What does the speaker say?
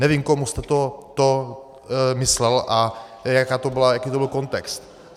Nevím, komu jste to myslel a jaký to byl kontext.